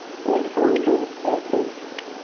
এই চলছে এক ই.